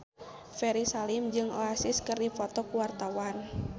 Ferry Salim jeung Oasis keur dipoto ku wartawan